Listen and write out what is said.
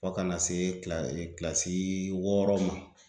Fo kana se kila kilasi wɔɔrɔ ma.